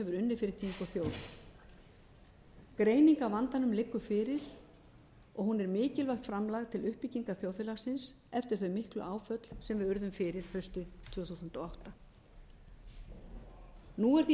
unnið fyrir þing og þjóð greining á vandanum liggur fyrir og hún er mikilvægt framlag til uppbyggingar þjóðfélagsins eftir þau miklu áföll sem við urðum fyrir haustið tvö þúsund og átta nú er því